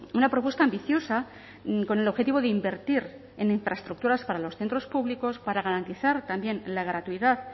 una propuesta ambiciosa con el objetivo de invertir en infraestructuras para los centros públicos para garantizar también la gratuidad